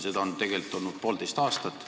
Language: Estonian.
Seda on tegelikult olnud poolteist aastat.